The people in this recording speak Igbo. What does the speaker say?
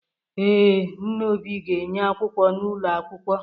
Ee, Nna Obi ga-enye akwụkwọ n’ụlọ akwụkwọ